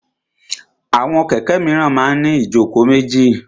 Àwọn kẹ̀kẹ́ míràn máa ń ní ìjókòó méjì.